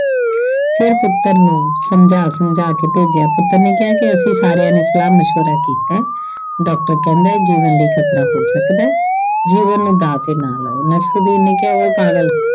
ਫਿਰ ਪੁੱਤਰ ਨੂੰ ਸਮਝਾ-ਸਮਝਾ ਕੇ ਭੇਜਿਆ ਪੁੱਤਰ ਨੇ ਕਿਹਾ ਕੀ ਅਸੀਂ ਸਾਰਿਆਂ ਨੇ ਸਲਾਹ ਮਸ਼ਵਰਾ ਕੀਤਾ। doctor ਕਹਿੰਦਾ ਇਹ ਜੀਵਨ ਲਈ ਖਤਰਾ ਹੋ ਸਕਦਾ ਜੀਵਨ ਨੂੰ ਦਾਅ ਤੇ ਨਾ ਲਾਉ। ਨਸਰੂਦੀਨ ਨੇ ਕਿਹਾ ਉਏ ਪਾਗਲ।